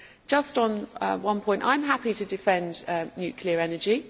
Just on one point I am happy to defend nuclear energy.